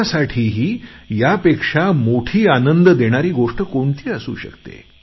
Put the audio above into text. कुणासाठीही यापेक्षा मोठी आनंद देणारी कोणती गोष्ट असू शकते